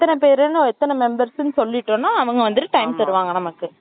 எத்தனை பேருன்னு, எத்தனை members ன்னு சொல்லிட்டோம்ன்னா, அவங்க வந்துட்டு, time தருவாங்க நமக்கு.